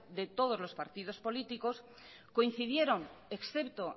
de todos los partidos políticos coincidieron excepto